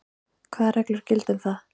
Hvað reglur gilda um það?